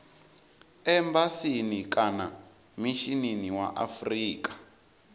embasini kana mishinini wa afrika